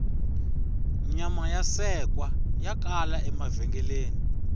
nyama ya sekwa ya kala emavhengeleni